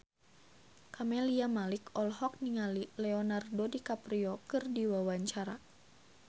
Camelia Malik olohok ningali Leonardo DiCaprio keur diwawancara